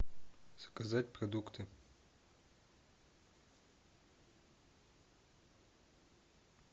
заказать продукты